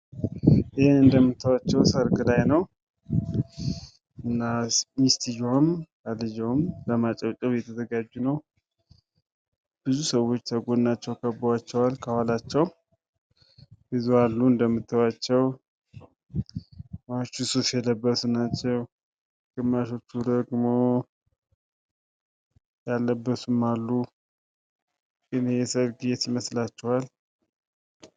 ይህ እንደምታዩአቸው ሰርግ ላይ ነው ። እና ሚስትዬዋም ባልየውም ለማጨብጨብ እየተዘጋጁ ነው ። ብዙ ሰዎች ከጎናቸው ከበዋቸዋል ከኋላቸው ብዙ አሉ እንደምታዩአቸው ግማሹ ሱፍ የለበሱ ናቸው ። ግማሾቹ ደግሞ ያለበሱም አሉ ። ይህ የሰርግ ቤት የት ይመስላችኋል?